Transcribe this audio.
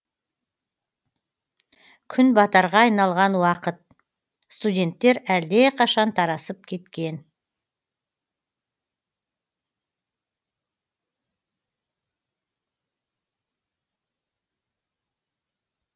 күн батарға айналған уақыт студенттер әлдеқашан тарасып кеткен